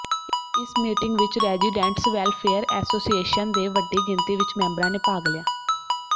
ਇਸ ਮੀਟਿੰਗ ਵਿੱਚ residents welfare association ਦੇ ਵੱਡੀ ਗਿਣਤੀ ਵਿੱਚ ਮੈਂਬਰਾਂ ਨੇ ਭਾਗ ਲਿਆ